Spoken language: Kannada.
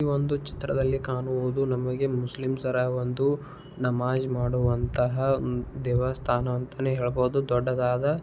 ಈ ಒಂದು ಚಿತ್ರದಲ್ಲಿ ಕಾಣುವುದು ನಮಗೆ ಮುಸ್ಲಿಂ ಒಂದು ನಮಾಜ್ ಮಾಡುವಂತಹ ದೇವಸ್ಥಾನ ಅಂತನೆ ಹೇಳಬಹುದು ದೊಡ್ಡದಾದ --